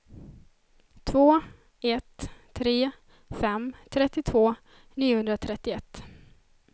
två ett tre fem trettiotvå niohundratrettioett